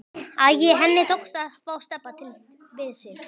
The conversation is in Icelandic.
Æ, henni tókst að fá Stebba til við sig.